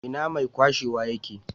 Ina mai kwashewa ye ke?